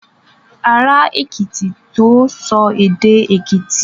Ará Èkìtì tó sọ èdè Èkìtì.